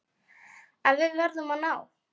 En við verðum að ná